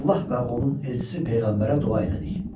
Allah və onun elçisi peyğəmbərə dua elədik.